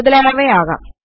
മുതലായവ ആകാം